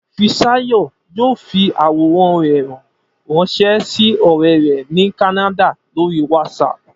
Fisáyọ̀ yóò fi àwòrán rẹ̀ ránṣẹ́ sí ọ̀rẹ́ rẹ̀ ní Kánádà lórí WhatsApp